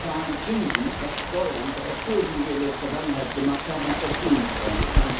Wir zahlen Zinsen auf Schulden, die wir in der Vergangenheit gemacht haben, anstatt Schulen zu bauen.